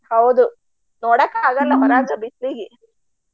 ಹೌದು ನೋಡಾಕ ಆಗಲ್ಲ ಹೊರಗ ಬಿಸ್ಲಿಗಿ.